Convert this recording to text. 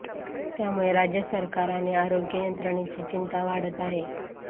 त्यामुळे राज्य सरकार आणि आरोग्य यंत्रणेची चिंता वाढत आहे